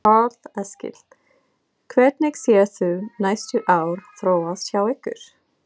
Karl Eskil: Hvernig sérð þú næstu ár þróast hjá ykkur?